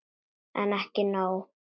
En ekki nóg.